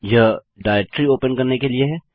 यह directory open करने के लिए है